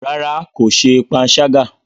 Rárá, ko ṣe panṣaga.